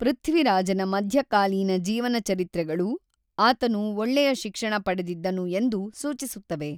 ಪೃಥ್ವಿರಾಜನ ಮಧ್ಯಕಾಲೀನ ಜೀವನಚರಿತ್ರೆಗಳು ಆತನು ಒಳ್ಳೆಯ ಶಿಕ್ಷಣ ಪಡೆದಿದ್ದನು ಎಂದು ಸೂಚಿಸುತ್ತವೆ.